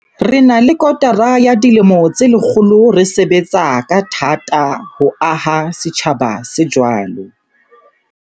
Re na le kotara ya dilemo tse lekgolo re sebetsa ka tha-ta ho aha setjhaba se jwalo.